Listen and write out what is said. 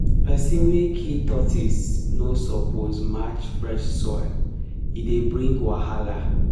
person wey kill tortoise no suppose match fresh soil e dey bring wahala.